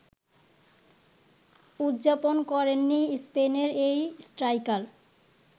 উদযাপন করেননি স্পেনের এই স্ট্রাইকার